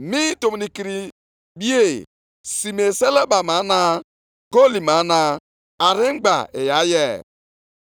‘Ọlaọcha niile na ọlaedo niile, bụ nke m.’ Ọ bụ ihe Onyenwe anyị, Onye pụrụ ime ihe niile kwupụtara.